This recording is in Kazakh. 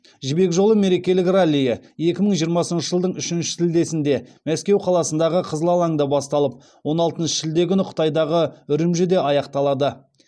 жібек жолы мерекелік раллиі екі мың жиырмасыншы жылдың үшінші шілдесінде мәскеу қаласындағы қызыл алаңда басталып он алтыншы шілде күні қытайдағы үрімжіде аяқталады